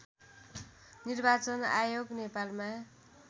निर्वाचन आयोग नेपालमा